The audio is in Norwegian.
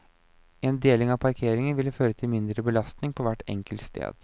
En deling av parkeringen vil føre til mindre belastning på hvert enkelt sted.